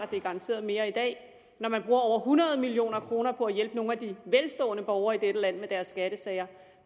det er garanteret mere i dag og man bruger over hundrede million kroner på at hjælpe nogle af de velstående borgere i dette land med deres skattesager